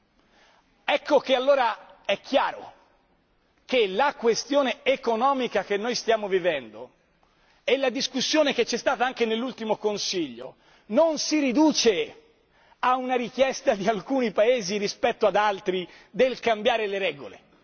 È dunque chiaro che la questione economica che noi stiamo vivendo e la discussione che c'è stata anche nell'ultimo Consiglio non si riducono a una richiesta di alcuni Paesi rispetto ad altri di cambiare le regole.